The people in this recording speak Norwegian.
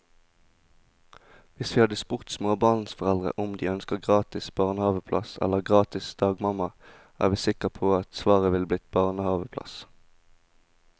Hvis vi hadde spurt småbarnsforeldre om de ønsker gratis barnehaveplass eller gratis dagmamma, er vi sikre på at svaret ville bli barnehaveplass.